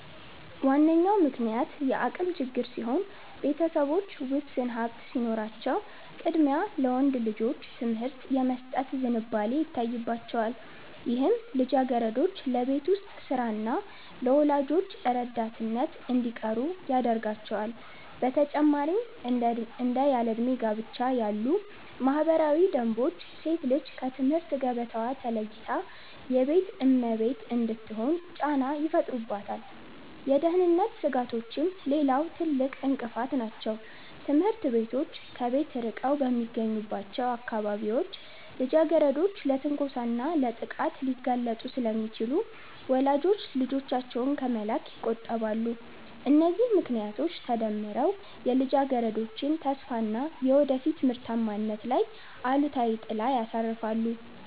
ዋነኛው ምክንያት የአቅም ችግር ሲሆን፣ ቤተሰቦች ውስን ሀብት ሲኖራቸው ቅድሚያ ለወንድ ልጆች ትምህርት የመስጠት ዝንባሌ ይታይባቸዋል፤ ይህም ልጃገረዶች ለቤት ውስጥ ሥራና ለወላጆች ረዳትነት እንዲቀሩ ያደርጋቸዋል። በተጨማሪም እንደ ያለዕድሜ ጋብቻ ያሉ ባህላዊ ደንቦች ሴት ልጅ ከትምህርት ገበታዋ ተለይታ የቤት እመቤት እንድትሆን ጫና ይፈጥሩባታል። የደህንነት ስጋቶችም ሌላው ትልቅ እንቅፋት ናቸው፤ ትምህርት ቤቶች ከቤት ርቀው በሚገኙባቸው አካባቢዎች ልጃገረዶች ለትንኮሳና ለጥቃት ሊጋለጡ ስለሚችሉ ወላጆች ልጆቻቸውን ከመላክ ይቆጠባሉ። እነዚህ ምክንያቶች ተደምረው የልጃገረዶችን ተስፋና የወደፊት ምርታማነት ላይ አሉታዊ ጥላ ያርፋሉ